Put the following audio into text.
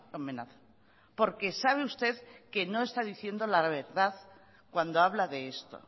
amenaza porque sabe usted que no está diciendo la verdad cuando habla de esto